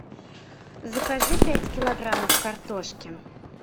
закажи пять килограммов картошки